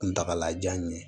Kuntagalajan ye